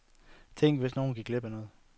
Tænk, hvis nogen gik glip af noget.